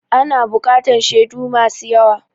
Ana buƙatan shedu masu yawa